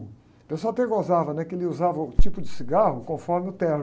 O pessoal até gozava, né? Que ele usava uh, o tipo de cigarro conforme o terno.